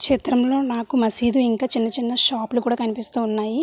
చిత్రమ్ లో నాకు మస్జీద్ ఇంకా చిన్న చిన్న షాప్ లు కూడా కనిపిస్తున్నాయి.